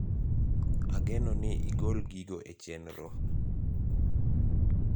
ageno ni igol gigo e chenro